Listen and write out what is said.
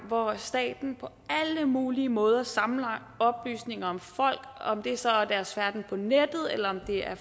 hvor staten på alle mulige måder samler oplysninger om folk om det så er om deres færden på nettet eller om det er